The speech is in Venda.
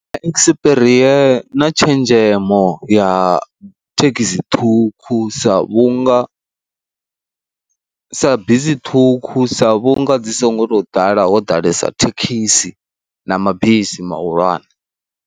Ekisipirie na tshenzhemo ya thekhisi ṱhukhu sa vhunga sa bisi ṱhukhu sa vhunga dzi songo tou ḓala ho ḓalesa thekhisi na mabisi mahulwane.